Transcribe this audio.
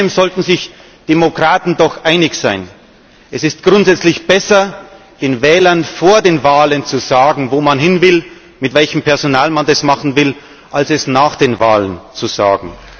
Aber in einem sollten sich Demokraten doch einig sein Es ist grundsätzlich besser, den Wählern vor den Wahlen zu sagen, wo man hin will, mit welchem Personal man das machen will, als es nach den Wahlen zu sagen.